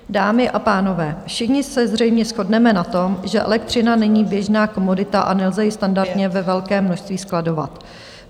Dámy a pánové, všichni se zřejmě shodneme na tom, že elektřina není běžná komodita, a nelze ji standardně ve velkém množství skladovat.